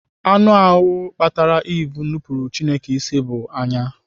Anụ ahụ kpatara Eve nupuru Chineke isi bụ anya.